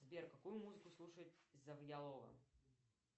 сбер какую музыку слушает завьялова